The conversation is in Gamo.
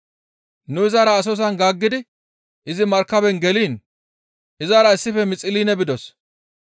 Nu izara Asosan gaaggidi izi markaben geliin izara issife Mixiline bidos.